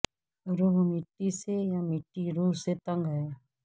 روح مٹی سے یا مٹی روح سے تنگ ہے